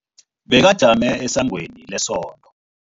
Bekajame esangweni lesonto.